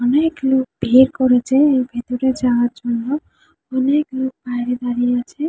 অনেক লোক ভিড় করেছে এর ভেতরে যাওয়ার জন্য। অনেক লোক বাইরে দাঁড়িয়ে আছে ।